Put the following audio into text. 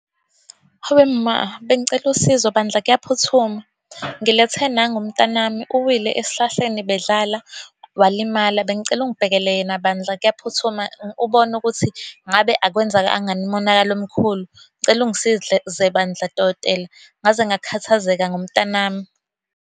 Hawe ma. Bengicela usizo bandla kuyaphuthuma. Ngilethe nangu umntanami, uwile esihlahleni bedlala, walimala. Bengicela ungibhekele yena bandla, kuyaphuthuma. Ubone ukuthi ngabe akwenzakanga yini umonakalo omkhulu. Ngicela bandla, dokotela. Ngaze ngakhathazeka ngomntanami.